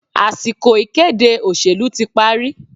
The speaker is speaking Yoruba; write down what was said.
Àsìkò ìkéde òṣèlú tí parí